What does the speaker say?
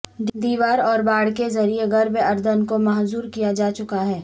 دیوار اور باڑھ کے ذریعے غرب اردن کو محصور کیا جا چکا ہے